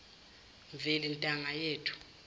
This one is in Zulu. mveli ntanga yethu